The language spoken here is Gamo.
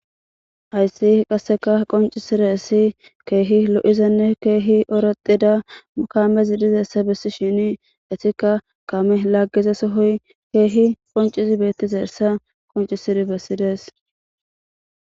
Hayisi qase qoncisizayisi kehi loizaysanne kehi oratida kamezi dizayisa besishshin izikka kameyi lagiza sohoy kehi qoncidayisa qonicisid besides